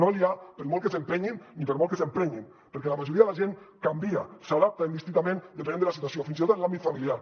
no hi és per molt que s’hi entestin i per molt que s’hi emprenyin perquè la majoria de la gent canvia s’adapta indistintament depenent de la situació fins i tot en l’àmbit familiar